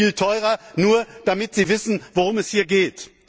Das wird viel teurer, nur damit Sie wissen, worum es hier geht.